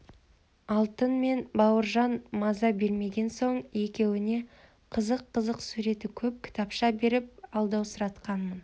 алтын мен бауыржан маза бермеген соң екеуіне қызық-қызық суреті көп кітапша беріп алдаусыратқанмын